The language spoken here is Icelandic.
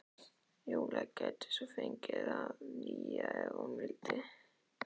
Júlía gæti svo fengið það nýja- ef hún vildi.